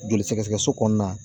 Joli sɛgɛsɛgɛso kɔnɔna